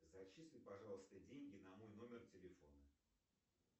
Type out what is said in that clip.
зачисли пожалуйста деньги на мой номер телефона